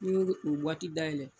Ni be o dayɛlɛ